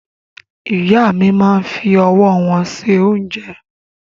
Ìyá mi máa ń fi ọwọ́ wọn ṣe oúnjẹ.